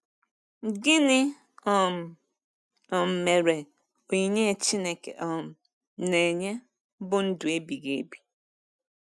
Gịnị um um mere, “onyinye Chineke um na-enye bụ ndụ ebighị ebi”?